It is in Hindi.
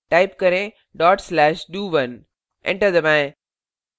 type करें dot slash do1 enter दबाएं